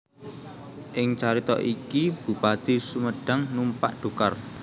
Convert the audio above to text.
Ing carita iki Bupati Sumedhang numpak dhokar